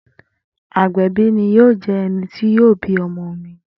Agbẹbi ni yoo jẹ ẹni ti yoo bi ọmọ mi.